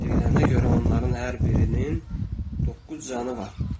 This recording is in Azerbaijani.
Deyilənə görə onların hər birinin doqquz canı var.